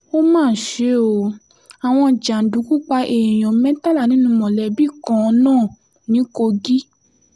ó mà ṣe o àwọn jàǹdùkú pa èèyàn mẹ́tàlá nínú mọ̀lẹ́bí kan náà ní kogi